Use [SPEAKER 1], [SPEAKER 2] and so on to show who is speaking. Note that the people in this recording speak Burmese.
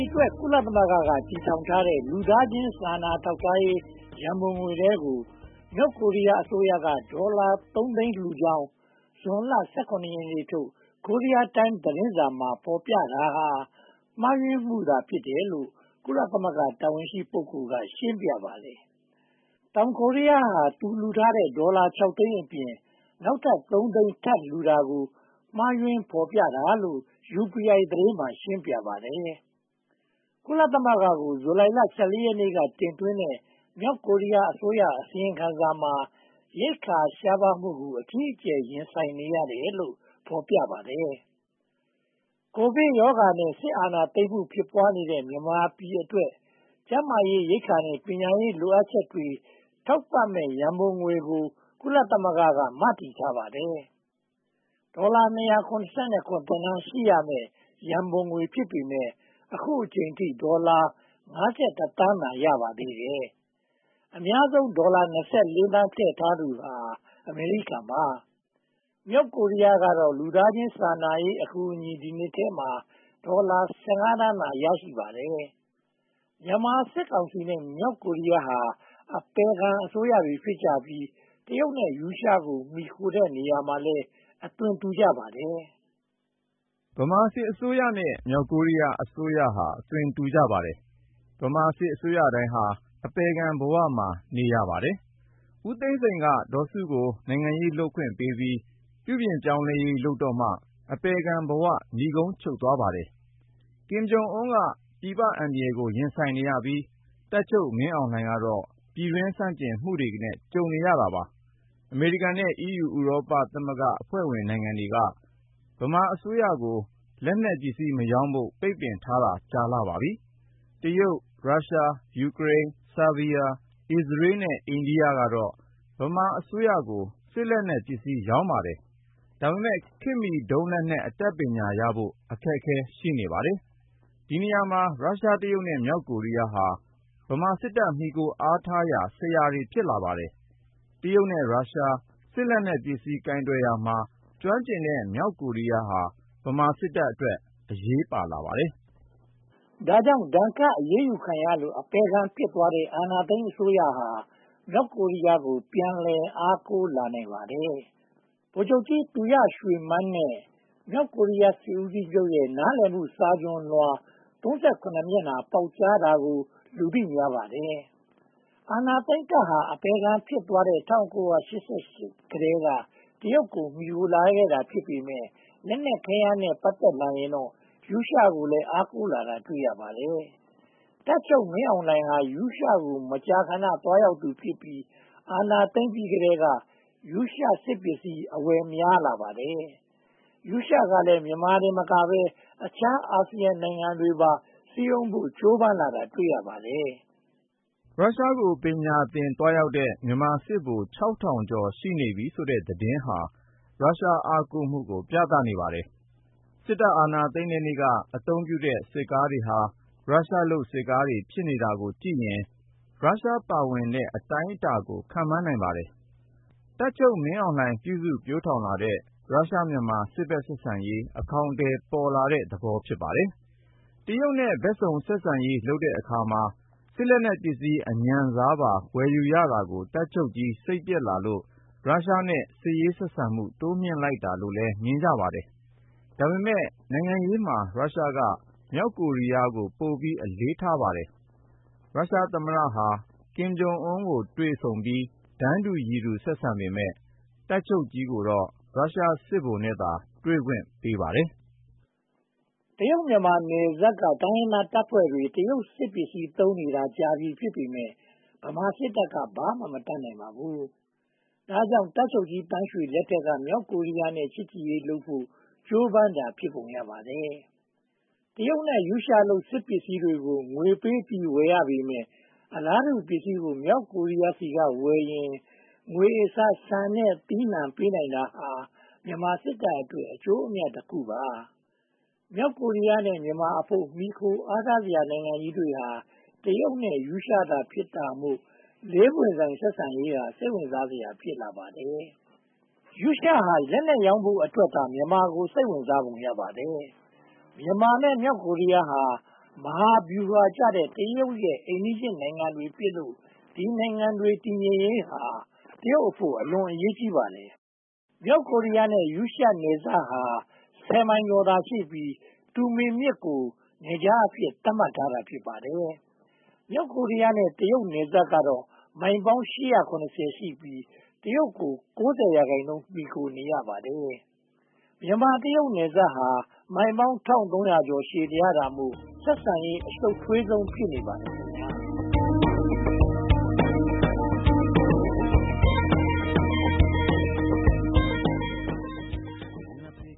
[SPEAKER 1] အတွက် ကုလသမဂ္ဂက တည်ထောင်ထားတဲ့ လူသားချင်းစာနာရေး ရန်ပုံငွေထဲကို မြောက်ကိုရီးယားအစိုးရက ဒေါ်လာ သိန်းလှူကြောင်း ဇွန်လ ရက်ထုတ် Korea Times သတင်းစာမှာ ဖော်ပြတာဟာ မှားယွင်းမှုသာ ဖြစ်တယ်လို့ ကုလသမဂ္ဂ တာဝန်ရှိ ပုဂ္ဂိုလ်က ရှင်းပြပါတယ်။ တောင်ကိုရီးယားဟာ လှူထားတဲ့ ဒေါ်လာ သိန်းအပြင် နောက်ထပ် သိန်း ထပ်လှူတာကို မှားယွင်းဖော်ပြတာလို့ UPI သတင်းမှာ ရှင်းပြပါတယ်။ ကုလသမဂ္ဂကို ဇူလိုင်လ ရက်နေ့က တင်သွင်းတဲ့ မြောက်ကိုရီးယားအစိုးရရဲ့ အစီရင်ခံစာမှာ ရိက္ခာရှားပါးမှုကို အကြီးအကျယ် ရင်ဆိုင်နေရတယ်လို့ ဖော်ပြပါတယ်။ ကိုဗစ်ရောဂါနဲ့ စစ်အာဏာသိမ်းမှု ဖြစ်ပွားနေတဲ့ မြန်မာပြည်အတွက် ကျန်းမာရေး၊ ရိက္ခာနဲ့ ပညာရေး လိုအပ်ချက်တွေ ထောက်ပံ့မယ် ရန်ပုံငွေကို ကုလသမဂ္ဂက မတည်ထားပါတယ်။ ဒေါ်လာ သန်း ရှိမယ့် ရန်ပုံငွေ ဖြစ်ပေမယ့်၊ အခုအချိန်အထိ ဒေါ်လာ သန်းသာ ရပါသေးတယ်။ အများဆုံးဒေါ်လာ သန်း ထည့်ထားသူဟာ အမေရိကန်ပါ။ မြောက်ကိုရီးယားကတော့ လူသာချင်းစာနာရေး အကူအညီ ဒီနှစ်ထဲမှာ ဒေါ်လာ သန်းသာ ရရှိပါတယ်။ မြန်မာစစ်ကောင်စီနဲ့ မြောက်ကိုရီးယားဟာ အပယ်ခံအစိုးရတွေ ဖြစ်ကြပြီး တရုတ်နဲ့ရုရှားကို မှီခိုတဲ့နေရာမှာလည်း အသွင်တူကြပါတယ်။
[SPEAKER 2] ဗမာစစ်အစိုးရနဲ့ မြောက်ကိုရီးယားအစိုးရဟာ အသွင်တူကြပါတယ်။ ဗမာစစ်အစိုးရတိုင်းဟာ အပယ်ခံဘဝမှာ နေရပါတယ်။ ဦးသိန်းစိန်က ဒေါ်စုကို နိုင်ငံရေးလုပ်ခွင့်ပေးပြီး ပြုပြင်ရေးလုပ်တော့မှ အပယ်ခံဘဝ နိဂုံးချုပ်သွားပါတယ်။ ကင်ဂျုံအန်းက ပြည်ပအန္တရာယ်ကို ရင်ဆိုင်နေရပြီး တပ်ချုပ်မင်းအောင်လှိုင်ကတော့ ပြည်တွင်းဆန့်ကျင်မှုကို ကြုံတွေ့နေရပါတယ်။ အမေရိကန်နဲ့ အီးယူဥရောပအဖွဲ့နိုင်ငံတွေက ဗမာအစိုးရကို လက်နက်ပစ္စည်းမရောင်းဖို့ ပိတ်ပင်ထားတာကြာပါပြီ။ တရုတ်၊ ရုရှား၊ ယူခရိန်း၊ ဆားဘီးယား၊ အစ္စရေးနဲ့ အိန္ဒိယကတော့ ဗမာအစိုးရကို စစ်ပစ္စည်း ရောင်းပါတယ်။ ဒါပေမဲ့ ခေတ်မီဒုံးလက်နက် အတတ်ပညာရဖို့ အခက်အခဲ ရှိပါတယ်။ ဒီနေရာမှာ ရုရှား၊ တရုတ်နဲ့ မြောက်ကိုရီးယားဟာ ဗမာစစ်တပ် မှီခိုအားထားရာ ဆရာတွေ ဖြစ်လာပါတယ်။ တရုတ်နဲ့ ရုရှား စစ်ပစ္စည်း ကိုင်တွယ်ရာမှာ ကျွမ်းကျင်တဲ့ မြောက်ကိုရီးယားဟာ ဗမာစစ်တပ်အတွက် အရေးပါလာပါတယ်။ ဒါ
[SPEAKER 1] ကြောင့် ဒဏ်ခတ်အရေးယူခံရလို့ အပယ်ခံဖြစ်သွားတဲ့ အာဏာသိမ်းအစိုးရဟာ မြောက်ကိုရီးယားကို ပြန်လည်အားကိုးနိုင်ပါတယ်။ ဗိုလ်ချုပ်ကြီးသူရရွှေမန်းနဲ့ မြောက်ကိုရီးယား စစ်ဦးချုပ်ရဲ့ နားလည်မှု စာချွန်လွှာ မျက်နှာ ပေါက်ကြားတာကို လူသိများပါတယ်။ အာဏာသိမ်းတပ်ဟာ အပယ်ခံဖြစ်သွားတဲ့ ၁၉၈၈ ကတည်းက တရုတ်ကို မှီခိုလာခဲ့တာ ဖြစ်ပေမယ့် လက်နက်ခဲယမ်းနဲ့ ပတ်သက်ရင်တော့ ရုရှားကိုလည်း အားကိုးလာတာ တွေ့ရပါတယ်။ တပ်ချုပ်မင်းအောင်လှိုင်ဟာ ရုရှားကို မကြာခဏ သွားရောက်သူဖြစ်ပြီး အာဏာသိမ်းပြီးကတည်းက ရုရှားစစ်ပစ္စည်းများကို အဝယ်များလာပါတယ်။ ရုရှားကလည်း မြန်မာတင်မကဘဲ အခြားအာဆီယံနိုင်ငံတွေကိုပါ စည်းရုံးဖို့ ကြိုးပမ်းလာတာ တွေ့ရပါတယ်
[SPEAKER 2] ။ ရုရှားကို ပညာသင်သွားရောက်ကြတဲ့ မြန်မာစစ်ဗိုလ် ကျော် ရှိနေပြီဆိုတဲ့ သတင်းဟာ ရုရှား အားကိုးမှုကို ပြပါတယ်။ စစ်အာဏာသိမ်းတဲ့နေ့က အသုံးပြုတဲ့ စစ်ကားတွေဟာ ရုရှားလုပ် စစ်ကားတွေ ဖြစ်နေတာကိုကြည့်ရင် ရုရှားပါဝင်တဲ့ အတိုင်းအတာကို ခန့်မှန်းနိုင်ပါတယ်။ တပ်ချုပ်မင်းအောင်လှိုင် ပြုစုပျိုထောင်လာတဲ့ ရုရှား-မြန်မာ စစ်ဘက်ဆက်ဆံရေး အကောင်အထည်ပေါ်လာတဲ့ သဘောဖြစ်ပါတယ်။ တရုတ်နဲ့ ဘက်ပေါင်းစုံ ဆက်ဆံရေးလုပ်တဲ့အခါမှာ စစ်ပစ္စည်းအညံ့စားပါ ဝယ်ယူရတာကို တပ်ချုပ်ကြီး စိတ်ပျက်လာလို့ ရုရှားနဲ့ စစ်ရေးဆက်ဆံမှု တိုးမြှင့်လိုက်တာလို့လည်း မြင်ကြပါတယ်။ ဒါပေမဲ့ နိုင်ငံရေးမှာ ရုရှားက မြောက်ကိုရီးယားကို ပိုပြီးအလေးထားပါတယ်။ ရုရှားသမ္မတဟာ ကင်ဂျုံအန်ကို တွေ့ဆုံပြီး တန်းတူရည်တူ ဆက်ဆံပေမယ့် တပ်ချုပ်ကြီးကတော့ ရုရှားစစ်ဗိုလ်နဲ့သာ တွေ့ခွင့်ရပါတယ်
[SPEAKER 1] ။ တရုတ်-မြန်မာ နယ်စပ်က တိုင်းရင်းသားတပ်ဖွဲ့တွေက တရုတ်စစ်ပစ္စည်း သုံးနေတာ ကြာပြီဖြစ်ပေမယ့် ဗမာစစ်တပ်က ဘာမှမတတ်နိုင်ပါဘူး။ ဒါကြောင့် တပ်ချုပ်ကြီးသန်းရွှေလက်ထက်က မြောက်ကိုရီးယားနဲ့ ချစ်ကြည်ရေးလုပ်ဖို့ ကြိုးပမ်းတာ ဖြစ်ပုံရပါတယ်။ တရုတ်နဲ့ ရုရှားလုပ် စစ်ပစ္စည်းကို ငွေပေးပြီး ဝယ်ရပေမယ့် အလားတူပစ္စည်းကို မြောက်ကိုရီးယားဆီကဝယ်ရင် ငွေအစားဆန်နဲ့ သီးနံှပေးနိုင်တာဟာ ဗမာစစ်တပ်အတွက် အကျိုးအမြတ်တခုပါ။ မြောက်ကိုရီးယားနဲ့ မြန်မာအဖို့ မှီခိုအားထားစရာ နိုင်ငံကြီးတွေဟာ တရုတ်နဲ့ရုရှားသာ ဖြစ်တာမို့ လေးပွင့်ဆိုင် ဆက်ဆံရေးဟာ စိတ်ဝင်စားစရာ ဖြစ်လာပါတယ်။ ရုရှားဟာ လက်နက်ရောင်းဖို့အတွက်သာ မြန်မာကို စိတ်ဝင်စားပုံ ရပါတယ်။ မြန်မာနဲ့ မဟာဗျူဟာကျတဲ့ တရုတ်ရဲ့ အိမ်နီးချင်းနိုင်ငံတွေဖြစ်လို့ ဒီနိုင်ငံတွေ တည်ငြိမ်ရေးဟာ တရုတ်အဖို့ အလွန်အရေးကြီးပါတယ်။ မြောက်ကိုရီးယားနဲ့ ရုရှားနယ်စပ်ဟာ ဆယ်မိုင်ကျော်သာရှိပြီး၊ တူမင်မြစ်ကို Tumen နယ်ခြားအဖြစ် သတ်မှတ်ထားတာ ဖြစ်ပါတယ်။ မြောက်ကိုရီးယားနဲ့ တရုတ်နယ်စပ်ဟာ မိုင်ပေါင်း ရှိပြီး တရုတ်ကို ရာခိုင်နှုန်း မှီခိုနေရပါတယ်။ မြန်မာ-တရုတ် နယ်စပ်ဟာ မိုင် ရှည်လျားတာမို့ ဆက်ဆံရေး အရှုပ်ထွေးဆုံး ဖြစ်နေပါတယ်။